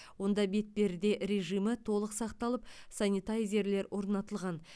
онда бетперде режимі толық сақталып санитайзерлер орнатылған